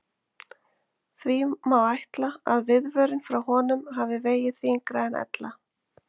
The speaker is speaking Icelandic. Því má ætla að viðvörun frá honum hafi vegið þyngra en ella.